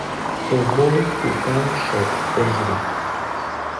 ковбой хукан шоп отзывы